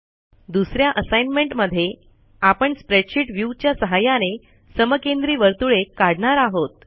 दुस या असाईनमेंट मध्ये आपण स्प्रेडशीट व्ह्यू च्या सहाय्याने समकेंद्री वर्तुळे काढणार आहोत